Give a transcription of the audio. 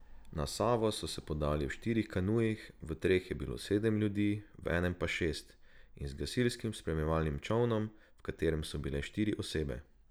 Na Savo so se podali v štirih kanujih, v treh je bilo sedem ljudi, v enem pa šest, in z gasilskim spremljevalnim čolnom, v katerem so bile štiri osebe.